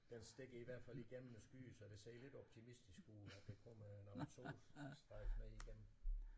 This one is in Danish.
Den stikker i hvert fald igennem skyen så det ser lidt optimistisk ud at der kommer nogle solstrejf ned igennem